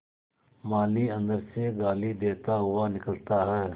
माली अंदर से गाली देता हुआ निकलता है